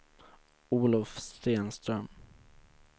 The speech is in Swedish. Olof Stenström